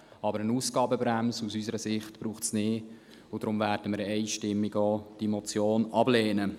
Aber eine Ausgabenbremse braucht es aus unserer Sicht nicht, und deswegen werden wir die Motion einstimmig ablehnen.